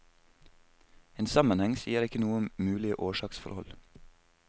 En sammenheng sier ikke noe om mulige årsaksforhold.